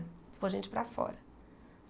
Ficou gente para fora.